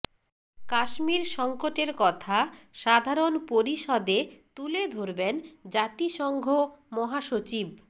কাশ্মীর সংকটের কথা সাধারণ পরিষদে তুলে ধরবেন জাতিসংঘ মহাসচিব